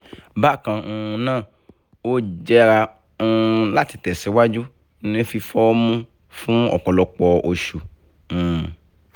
bákan um náà ó jẹ́ra um láti tẹ̀síwájú ní fífọ́ọ́mú fún ọ̀pọ̀lọpọ̀ oṣù um